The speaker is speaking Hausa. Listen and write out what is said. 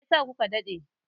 Me yasa ku ka daɗe?